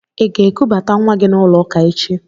Ị ga-ekubata nwa gị n'ụlọ ụka echi?